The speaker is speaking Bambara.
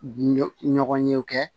Ɲɔ ɲɔgɔn ye u kɛ